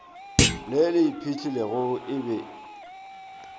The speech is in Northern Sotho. le le iphihlilego e be